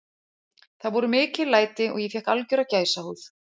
Það voru mikil læti og ég fékk algjöra gæsahúð.